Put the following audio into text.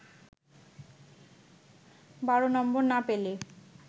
১২ নম্বর না পেলে